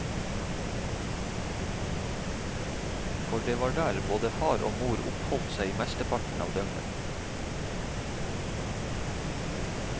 For det var der både far og mor oppholdt seg mesteparten av døgnet.